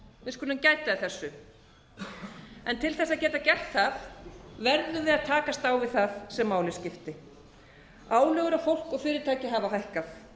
við skulum gæta að þessu til þess að geta gert það verðum við að takast á við það sem máli skiptir álögur á fólk og fyrirtæki hafa hækkað